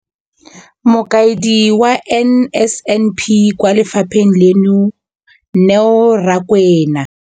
Mokaedi wa NSNP kwa lefapheng leno, Neo Rakwena.